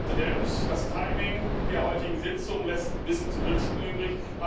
Herr Präsident! Das Timing der heutigen Sitzung lässt ein bisschen zu wünschen übrig.